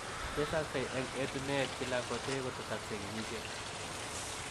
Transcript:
Tesaksei eng etuneet kila kotee kotesaksei kenyisiek.